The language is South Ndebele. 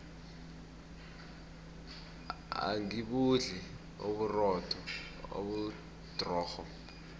angibudli uburotho obudrorho